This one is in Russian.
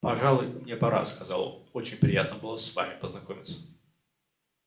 пожалуй мне пора сказал очень приятно было с вами познакомиться